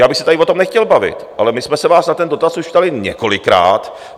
já bych se tady o tom nechtěl bavit, ale my jsme se vás na ten dotaz už ptali několikrát.